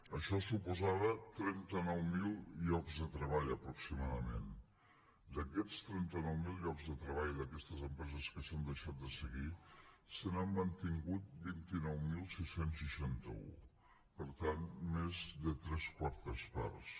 això suposava trenta nou mil llocs de treball aproximadament d’aquests trenta nou mil llocs de treball d’aquestes empreses que s’han deixat de seguir se n’han mantingut vint nou mil sis cents i seixanta un per tant més de tres quartes parts